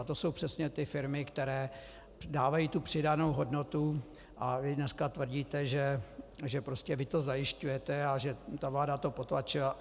A to jsou přesně ty firmy, které dávají tu přidanou hodnotu, a vy dneska tvrdíte, prostě že vy to zajišťujete a že ta vláda to potlačila.